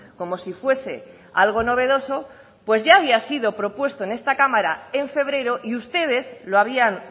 como si fuese algo novedoso pues ya había sido propuesto en esta cámara en febrero y ustedes lo habían